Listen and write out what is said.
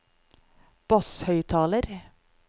basshøyttaler